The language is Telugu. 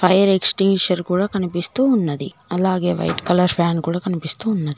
ఫైర్ ఎక్సటెన్షన్ కూడా కనిపిస్తూ ఉన్నది అలాగే వైట్ కలర్ ఫ్యాన్ కూడా కనిపిస్తూ ఉన్నది.